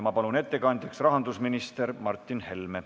Ma palun ettekandjaks rahandusminister Martin Helme.